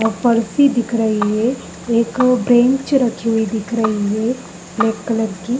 पारसी दिख रही है एक ब्रेंच रखी हुई दिख रही है ब्लैक कलर की।